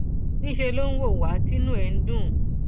níṣẹ ló ń wò wá tí inú ẹ ń dùn